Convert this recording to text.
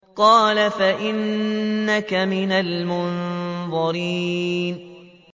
قَالَ فَإِنَّكَ مِنَ الْمُنظَرِينَ